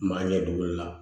Maa ɲɛ dɔgɔli la